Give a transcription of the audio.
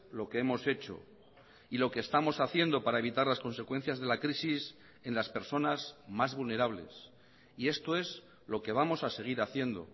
lo que hemos hecho y lo que estamos haciendo para evitar las consecuencias de la crisis en las personas más vulnerables y esto es lo que vamos a seguir haciendo